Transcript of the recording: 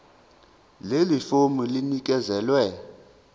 leli fomu linikezelwe